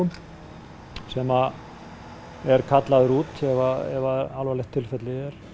sem eru kallaðir út ef það alvarlegt tilfelli